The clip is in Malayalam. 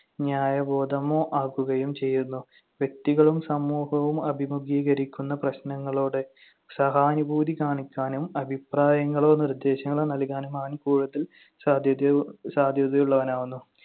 ന്യായബോധമോ ആക്കുകയും ചെയ്യുന്നു. വ്യക്തികളും സമൂഹവും അഭിമുഖീകരിക്കുന്ന പ്രശ്‌നങ്ങളോട് സഹാനുഭൂതി കാണിക്കാനും അഭിപ്രായങ്ങളോ നിർദ്ദേശങ്ങളോ നൽകാനും അവൻ കൂടുതൽ സാധ്യതയോ~ സാധ്യതയുള്ളവനാകുന്നു.